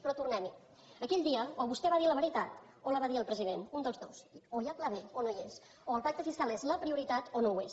però tornem hi aquell dia o vostè va dir la veritat o la va dir el president un dels dos o hi ha pla b o no hi és o el pacte fiscal és la prioritat o no ho és